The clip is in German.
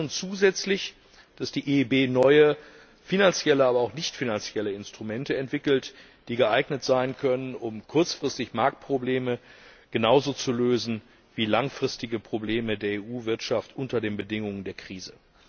Wir wünschen uns zusätzlich, dass die EIB neue finanzielle, aber auch nicht finanzielle Instrumente entwickelt, die geeignet sein können, kurzfristig Marktprobleme genauso zu lösen wie langfristige Probleme der EU Wirtschaft unter den Bedingungen der Krise.